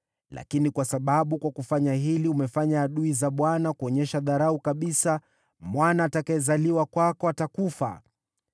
Lakini kwa sababu kwa kufanya hili umefanya adui za Bwana kuonyesha dharau kabisa, mwana atakayezaliwa kwako atakufa.”